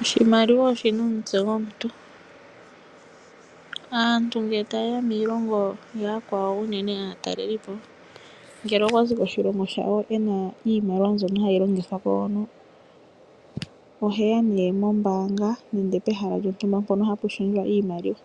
Oshimaiiwa oshi na omutse gomuntu. Aantu ngele taye ya miilongo ya yakwawo unene aatalelipo, ngele okwa zi koshilongo shawo ena iimaliwa mbyono hayi longithwa ko hono, ohe ya nee mombaanga nenge pehala lyontumba mpono hapu lundululwa iimaliwa.